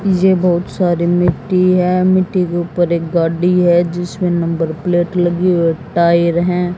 ये बहुत सारी मिट्टी है मिट्टी के ऊपर एक गाडी है जिसमें नंबर प्लेट लगी हुई टायर हैं।